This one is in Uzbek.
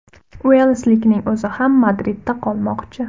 Uelslikning o‘zi ham Madridda qolmoqchi.